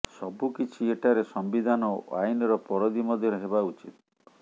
ସବୁକିଛି ଏଠାରେ ସମ୍ବିଧାନ ଓ ଆଇନର ପରିଧି ମଧ୍ୟରେ ହେବା ଉଚିତ